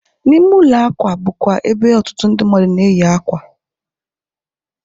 N'ime ụlọ akwa bụ kwa ebe otutu ndị mmadu na-eyi ákwà